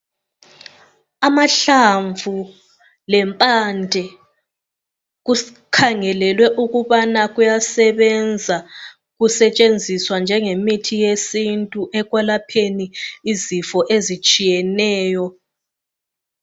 Amahlamvu lempande kukhangelelwe ukubana kuyasebenza kusetshenziswa njengemithi yesintu ekwelapheni izifo ezitshiyeneyo.